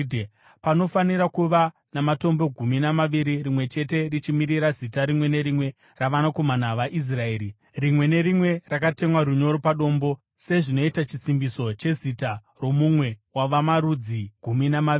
Panofanira kuva namatombo gumi namaviri, rimwe chete richimirira zita rimwe nerimwe ravanakomana vaIsraeri, rimwe nerimwe rakatemwa runyoro padombo sezvinoita chisimbiso chezita romumwe wavamarudzi gumi namaviri.